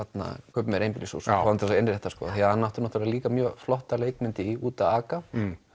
kaupi mér einbýlishús og fá hann til að innrétta því hann átti náttúrulega líka mjög flotta leikmynd í út að aka